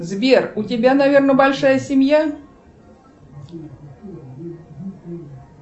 сбер у тебя наверное большая семья